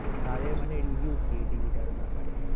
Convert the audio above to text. তাদের মানে review কি TV টার ব্যাপারে?